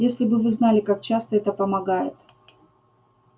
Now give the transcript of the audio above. если бы вы знали как часто это помогает